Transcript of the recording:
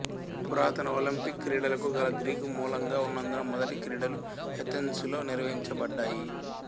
పురాతన ఒలింపిక్ క్రీడలకు గల గ్రీకు మూలంగా ఉన్నందున మొదటి క్రీడలు ఎథెన్సులో నిర్వహించబడ్డాయి